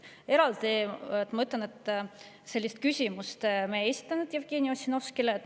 Eraldi, ma ütlen, sellist küsimust me ei esitanud Jevgeni Ossinovskile.